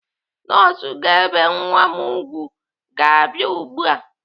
Nọọsụ ga-ebe nwa m ùgwù ga-abia ugbu a.